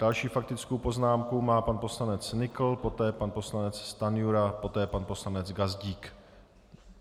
Další faktickou poznámku má pan poslanec Nykl, poté pan poslanec Stanjura, poté pan poslanec Gazdík.